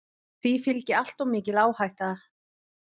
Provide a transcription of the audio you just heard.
Því fylgi alltof mikil áhætta.